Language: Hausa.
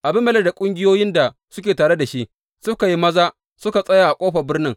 Abimelek da ƙungiyoyin da suke tare da shi suka yi maza suka yi tsaya a ƙofar birnin.